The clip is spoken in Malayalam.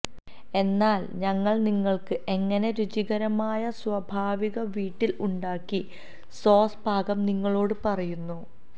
എന്നാൽ ഞങ്ങൾ നിങ്ങൾക്ക് എങ്ങനെ രുചികരമായ സ്വാഭാവിക വീട്ടിൽ ഉണ്ടാക്കി സോസ് പാകം നിങ്ങളോടു പറയുന്നു